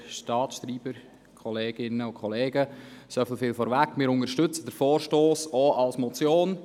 Soviel vorweg: Wir unterstützen diesen Vorstoss auch als Motion.